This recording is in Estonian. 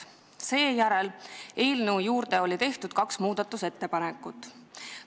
Seejärel tehti eelnõu kohta kaks muudatusettepanekut.